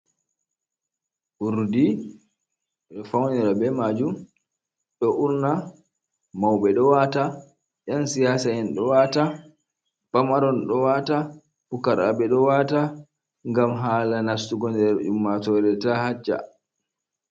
Urdi ɓe ɗo fownira be maajum, ɗo urna, mawɓe ɗo waata, ƴan siyaasa'en ɗo waata, pamaron ɗo waata, pukaraaɓe ɗo waata, ngam haala nastugo nder ummatoore taa hacca.